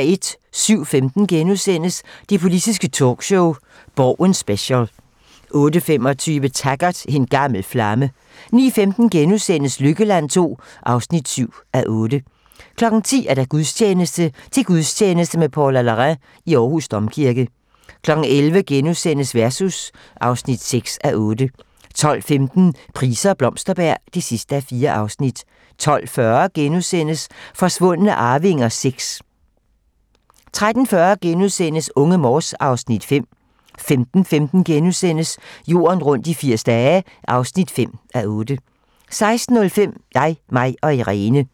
07:15: Det politiske talkshow - Borgen Special * 08:25: Taggart: En gammel flamme 09:15: Lykkeland II (7:8)* 10:00: Gudstjeneste: Til gudstjeneste med Paula Larrain i Aarhus Domkirke 11:00: Versus (6:8)* 12:15: Price og Blomsterberg (4:4) 12:40: Forsvundne arvinger VI * 13:40: Unge Morse (Afs. 5)* 15:15: Jorden rundt i 80 dage (5:8)* 16:05: Jeg, mig & Irene